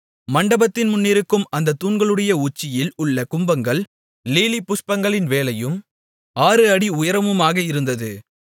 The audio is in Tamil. மண்டபத்தின் முன்னிருக்கும் அந்தத் தூண்களுடைய உச்சியில் உள்ள கும்பங்கள் லீலிபுஷ்பங்களின் வேலையும் 6 அடி உயரமுமாக இருந்தது